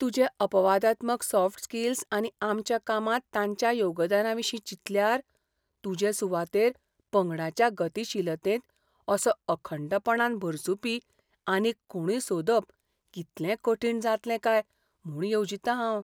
तुज्यो अपवादात्मक soft skills आनी आमच्या कामांत तांच्या योगदानाविशीं चिंतल्यार, तुजे सुवातेर पंगडाच्या गतीशीलतेंत असो अखंडपणान भरसुपी आनीक कोणूय सोदप कितलें कठीण जातलें काय म्हूण येवजितां हांव.